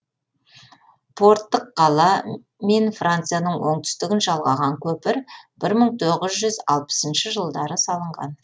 порттық қала мен францияның оңтүстігін жалғаған көпір бір мың тоғыз жүз алпысыншы жылдары салынған